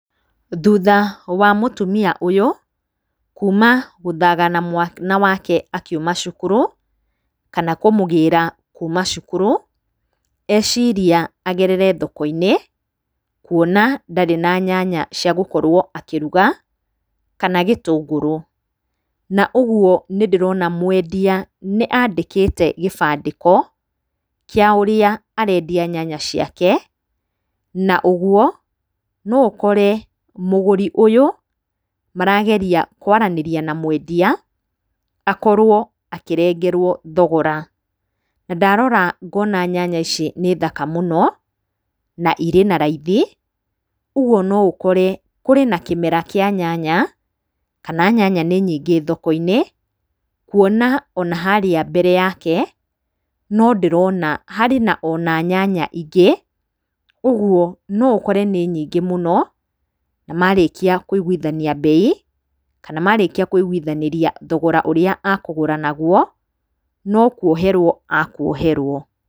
Thutha wa mũtumia ũyũ kuma gũthagana mwana wake akiuma cukuru kana kũmũgĩra kuma cukuru, eciria agerere thoko-inĩ, kuona ndarĩ na nyanya ciagũkorwo akĩruga kana gĩtũngũrũ. Na ũguo nĩndĩrona mwendia nĩ andĩkĩte gĩbandĩko kĩa ũrĩa arendia nyanya ciake, na ũguo no ũkore mũgũri ũyũ marageria kwaranĩria na mwendia akorwo akĩrengerwo thogora. Na ndarora ngona nyanya ici nĩ thaka mũno na irĩ na raithi, ũguo no ũkore kũrĩ na kĩmera kĩa nyanya, kana nyanya nĩ nyingĩ thoko-inĩ, kuona ona harĩa mbere yake no ndĩrona harĩ ona nyanya ingĩ ũguo no ũkore nĩ nyingĩ muno. Na marĩkia kũiguithania mbei kana marĩkia kũigũithanĩria thogora ũrĩa akũgũra naguo no kuoherwo akuoherwo.